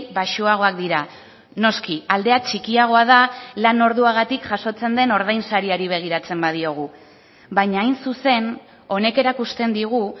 baxuagoak dira noski aldea txikiagoa da lan orduagatik jasotzen den ordainsariari begiratzen badiogu baina hain zuzen honek erakusten digu